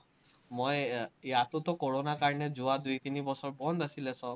মই ইয়াতোতো কোৰোণাৰ কাৰণে যোৱা দুই-তিনি বছৰ বন্ধ আছিলে চব।